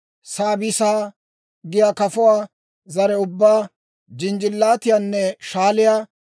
saabiissaa giyaa kafuwaa zare ubbaa, jinjjilaatiyaanne shaaliyaa.